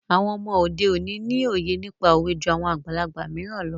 Àwọn ọmọ òde òní ni òye nípa òwe jú àwọn àgbàlagbà mìíràn lọ.